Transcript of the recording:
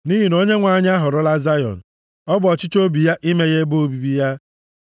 Nʼihi na Onyenwe anyị ahọrọla Zayọn, ọ bụ ọchịchọ obi ya ime ya ebe obibi ya;